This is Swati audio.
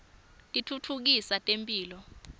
titfutfukisa temphilo